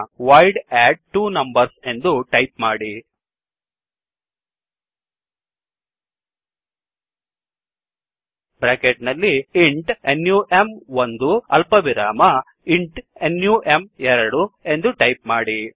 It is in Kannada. ವಾಯ್ಡ್ ಅಡ್ಟ್ವೊನಂಬರ್ಸ್ ಎಂದು ಟೈಪ್ ಮಾಡಿ ಬ್ರ್ಯಾಕೆಟ್ ನಲ್ಲಿ ಇಂಟ್ ನಮ್1 ಅಲ್ಪವಿರಾಮ ಇಂಟ್ ನಮ್2 ಎಂದು ಟೈಪ್ ಮಾಡಿ